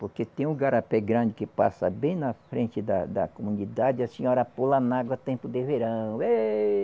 Porque tem um garapé grande que passa bem na frente da da comunidade e a senhora pula na água a tempo de verão. Êhh